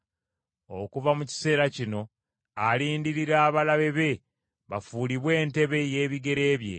Okuva mu kiseera kino alindirira abalabe be bafuulibwe entebe y’ebigere bye.